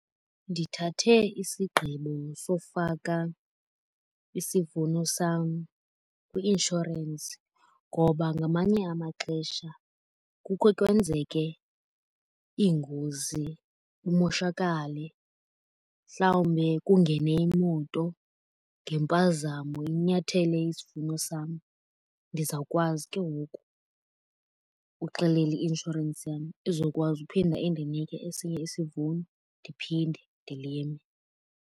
Ndithathe isigqibo sowufaka isivuno sam kwi-inshorensi ngoba ngamanye amaxesha kukhe kwenzeke iingozi kumoshakale. Mhlawumbe kungene imoto ngempazamo inyathele isivuno sam. Ndizawukwazi ke ngoku uxelela i-inshorensi yam izokwazi uphinda indinike esinye isivuno ndiphinde ndilime.